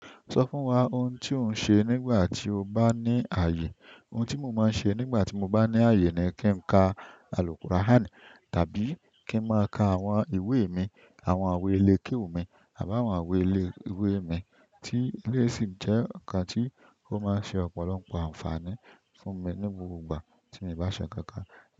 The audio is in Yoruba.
Sọ fún wa ohun tí ò ń ṣe nígbà tí o bá ní ààyè. Ohun tí mo máa ń ṣe nígbà tí mo bá ní àye ni kí n ka Al Quran tàbí kí n máa ka àwọn ìwé mi, àwọn àwo elékéwù mi àbí àwọn àwọn ìwé ile ìwé mi tí eleyi sì jẹ́ ọkàn tí ó máa ń ṣe ọ̀pọ̀lọpọ̀ àǹfààní fún mi ní gbogbo ìgbà tí mio bá se nkankan.